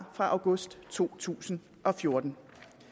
fra august to tusind og fjorten